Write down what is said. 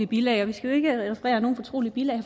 bilag og vi skal ikke referere nogen fortrolige bilag